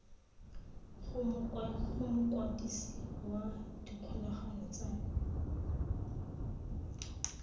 go mokwadisi wa dikgolagano tsa